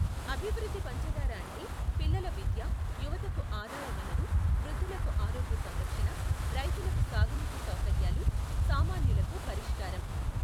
అభివృద్ధి పంచధార అంటే పిల్లల విద్య, యువతకు ఆదాయ వనరు, వృద్ధులకు ఆరోగ్య సంరక్షణ, రైతులకు సాగునీటి సౌకర్యాలు, సామాన్యులకు పరిష్కారం.